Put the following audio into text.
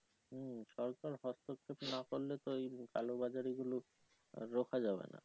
হুম সরকার হস্তক্ষেপ নাহ করলে তো এইরম কালোবাজারি গুলো রুখা যাবে না।